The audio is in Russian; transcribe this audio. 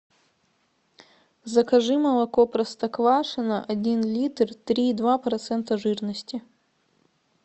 закажи молоко простоквашино один литр три и два процента жирности